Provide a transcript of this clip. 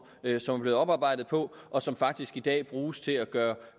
som er blevet oparbejdet på og som faktisk i dag bruges til at gøre